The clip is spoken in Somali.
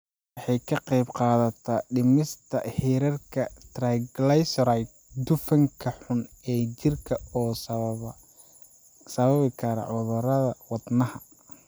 Waxay ka qaybqaadataa dhimista heerarka triglycerides, dufanka xun ee jirka oo sababi kara cudurrada wadnaha.